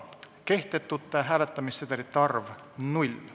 Kehtetute hääletamissedelite arv – 0.